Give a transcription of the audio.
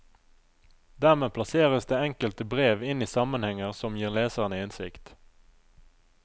Dermed plasseres det enkelte brev inn i sammenhenger som gir leserne innsikt.